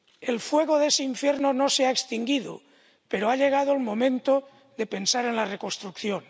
El fuego de ese infierno no se ha extinguido, pero ha llegado el momento de pensar en la reconstrucción.